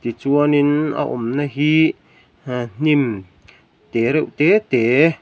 chuanin a awmna hi e hnim te reuh te te.